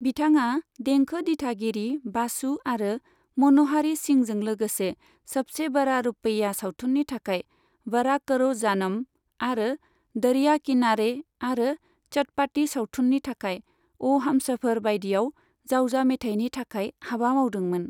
बिथाङा देंखो दिथागिरि बासु आरो मन'हारी सिंहजों लोगोसे सबसे बड़ा रुपैया सावथुननि थाखाय 'वड़ा करो जानम' आरो 'दरिया किनारे' आरो चटपाटी सावथुननि थाखाय 'आ हमसफर' बाइदियाव जावजा मेथाइनि थाखाय हाबा मावदोंमोन।